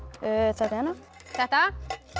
þetta hérna þetta